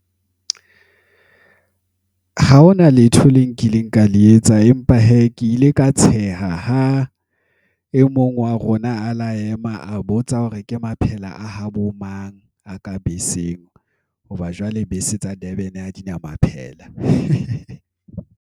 Ha hona letho le nkileng ka le etsa empa hee, ke ile ka tsheha ha e mong wa rona a la ema a botsa hore ke maphela a habo mang a ka beseng. Hoba jwale bese tsa Durban ha dina maphela.